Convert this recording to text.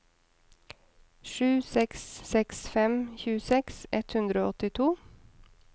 sju seks seks fem tjueseks ett hundre og åttito